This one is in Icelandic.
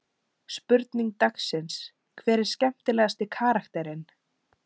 Spurning dagsins: Hver er skemmtilegasti karakterinn?